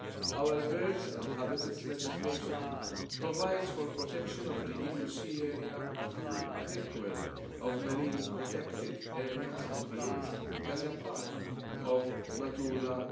Our birds and habitats legislation provides for protection of the EU sea area through a network of marine protected areas MPAs as a part of Natura